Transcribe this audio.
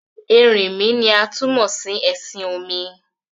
Ẹrìnmí ni a tún mó sí ẹ̀ṣin-òmì.